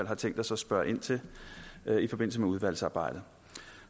har tænkt os at spørge ind til i forbindelse med udvalgsarbejdet